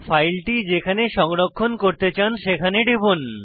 ফাইলটি যেখানে সংরক্ষণ করতে চান সেখানে টিপুন